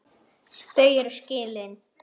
Þau eru skilin.